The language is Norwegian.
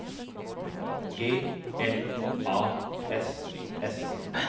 G L A S S